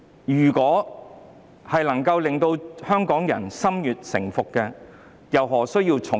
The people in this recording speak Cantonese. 如能令香港人心悅誠服，政府又何需用重典？